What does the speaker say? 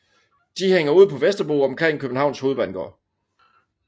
De hænger ud på Vesterbro omkring Københavns Hovedbanegård